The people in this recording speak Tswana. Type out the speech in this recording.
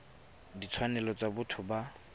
ya ditshwanelo tsa botho ya